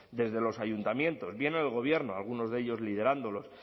desde los ayuntamientos bien el gobierno algunos de ellos liderándolo